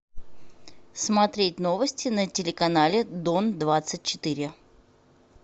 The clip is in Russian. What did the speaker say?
смотреть новости на телеканале дон двадцать четыре